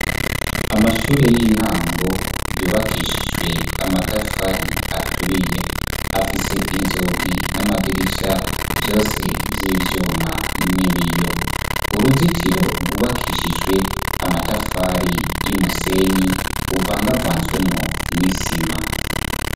Amashure y'intango yubakishijwe amatafari aturiye. Afise inzugi n'amadirisha vyose vy'ivyuma n'ibiyo. Uruzitiro rwubakishijwe amatafari y'umusenyi uvangavanzwemwo n'isima.